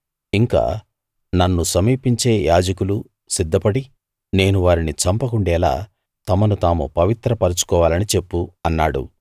ఇంకా నన్ను సమీపించే యాజకులు సిద్ధపడి నేను వారిని చంపకుండేలా తమను తాము పవిత్ర పరుచుకోవాలని చెప్పు అన్నాడు